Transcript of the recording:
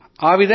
ఆహాఁ అలాగా